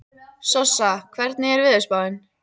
Sossa, hvernig er veðurspáin?